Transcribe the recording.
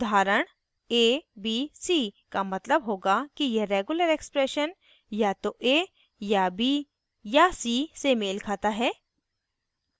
उदाहरण abc का मतलब होगा कि यह regular expression या तो a या b या c से मेल खाता है